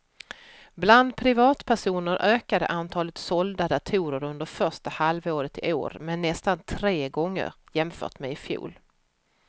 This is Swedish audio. Bland privatpersoner ökade antalet sålda datorer under första halvåret i år med nästan tre gånger jämfört med i fjol.